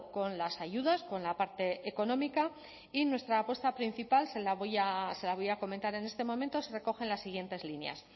con las ayudas con la parte económica y nuestra apuesta principal se la voy a comentar en este momento se recoge en las siguientes líneas